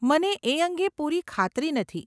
મને એ અંગે પૂરી ખાતરી નથી.